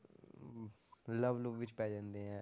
Love love ਵਿੱਚ ਪੈ ਜਾਂਦੇ ਹੈ,